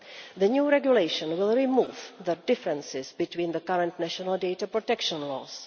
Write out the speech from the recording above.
The new regulation will remove the differences between the current national data protection laws.